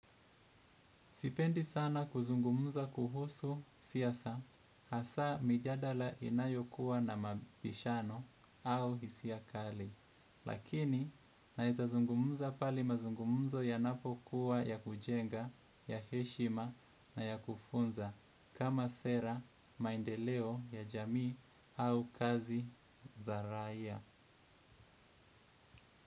Sipendi sana kuzungumza kuhusu siasa hasa mijadala inayokuwa na mabishano au hisia kali. Lakini naeza zungumuza pale mazungumzo yanapokuwa ya kujenga ya heshima na ya kufunza kama sera maendeleo ya jamii au kazi za raia.